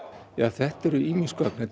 þetta eru ýmis gögn þetta